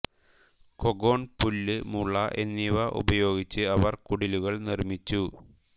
cogon പുല്ല് മുള എന്നിവ ഉപയൊഗിച്ച് അവർ കുടിലുകൾ നിർമ്മിച്ചു